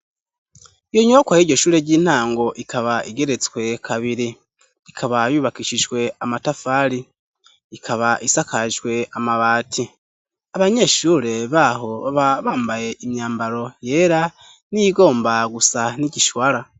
Iyo nyubakwa y'iryo shure ry'intango ikaba igeretswe kabiri. Ikaba yubakishijwe amatafari ,ikaba isakajwe amabati. Abanyeshure b'aho baba bambaye imyambaro yera niyigomba gusa n'igishwara.